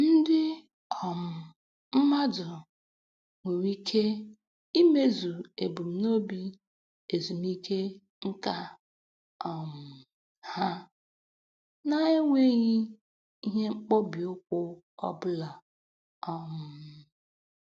Ndị um mmadụ nwere ike imezu ebumnobi ezumike nka um ha na-enweghị ihe mkpọbi ụkwụ ọbụla um